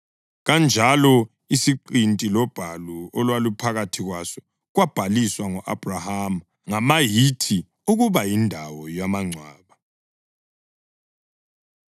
Kanjalo isiqinti lobhalu olwaluphakathi kwaso kwabhaliswa ngo-Abhrahama ngama-Hithi ukuba yindawo yamangcwaba.